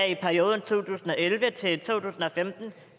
i perioden to tusind og elleve til femten